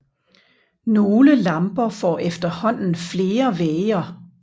Nogle lamper får efterhånden flere væger